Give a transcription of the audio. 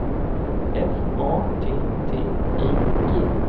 F A T T I G